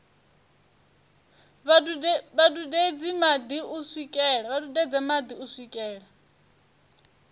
vha dudedze madi u swikela